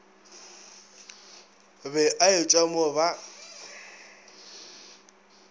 be a etšwa mo ba